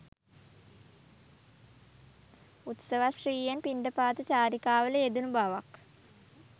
උත්සවශ්‍රීයෙන් පිණ්ඩපාත චාරිකාවල යෙදුණු බවක්